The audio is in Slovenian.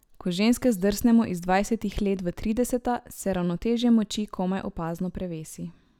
Ko ženske zdrsnemo iz dvajsetih let v trideseta, se ravnotežje moči komaj opazno prevesi.